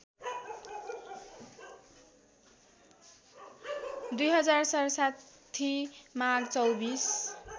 २०६७ माघ २४